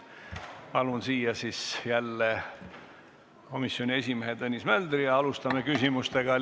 Palun siia jälle komisjoni esimehe Tõnis Möldri ja alustame küsimuste esitamist.